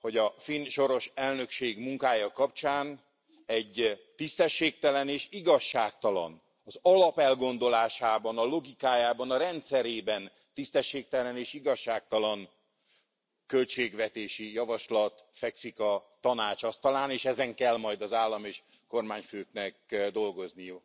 hogy a finn soros elnökség munkája kapcsán egy tisztességtelen és igazságtalan, az alapelgondolásában, a logikájában, a rendszerében tisztességtelen és igazságtalan költségvetési javaslat fekszik a Tanács asztalán, és ezen kell majd az állam és kormányfőknek dolgozniuk.